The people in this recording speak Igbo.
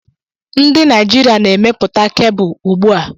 Ndị Naijiria na-emepụta kebụl ùgbúà